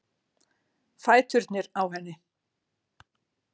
Fæturnir á henni.